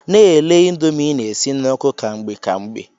Na-ele ịndomii ị na-esi n'oku ka mgbe ka mgbe.